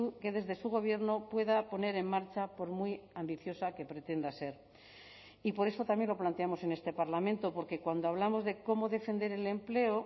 que desde su gobierno pueda poner en marcha por muy ambiciosa que pretenda ser y por eso también lo planteamos en este parlamento porque cuando hablamos de cómo defender el empleo